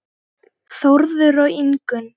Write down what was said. Þórður og Ingunn.